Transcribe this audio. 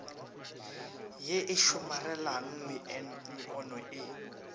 ye e somarelang meono e